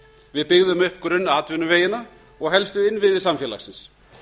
við byggðum upp grunnatvinnuvegina og helstu innviði samfélagsins